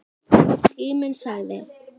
Tíminn sagði